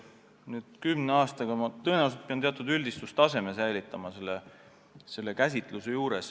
Nüüd, kümne aastaga – ma tõenäoliselt pean selle käsitluse juures säilitama teatud üldistustaseme.